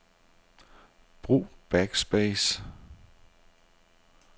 Brug backspace.